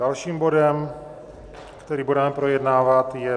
Dalším bodem, který budeme projednávat, je